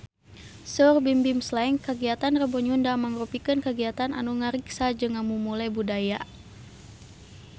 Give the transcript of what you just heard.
Saur Bimbim Slank kagiatan Rebo Nyunda mangrupikeun kagiatan anu ngariksa jeung ngamumule budaya Sunda